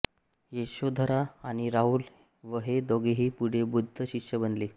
यशोधरा आणि राहुल हे दोघेही पुढे बुद्ध शिष्य बनले